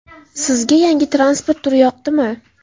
Sizga yangi transport turi yoqdimi?